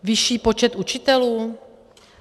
Vyšší počet učitelů?